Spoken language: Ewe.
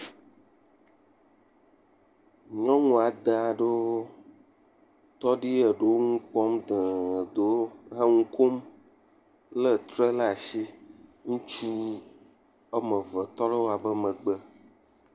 nyɔŋu adē aɖewo tɔ ɖi eɖewo ŋukpɔm teŋ eɖewo he ŋukom le tre la si ŋutsu woameve tɔ le wóabe megbe